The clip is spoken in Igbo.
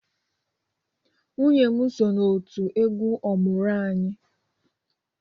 Nwunye m so na otu egwu ọmụrụ-anyị